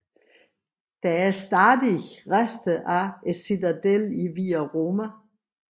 Der er stadig rester af citadellet i Via Roma